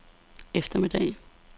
eftermiddag